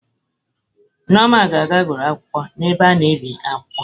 Nneoma ga-aga were akwụkwọ n'ebe a na-ebi akwụkwọ